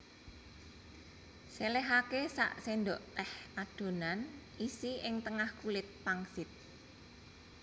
Selehake sak sendok teh adonan isi ing tengah kulit pangsit